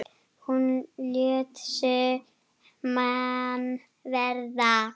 Hún lét sig mann varða.